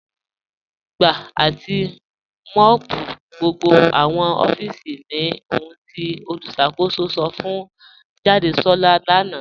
Gbà àti mọ́ọ̀pù gbogbo awọn òfíìsì ní òhùn tí olùṣakòsò sọ̀ fún Jàdésolá lánà.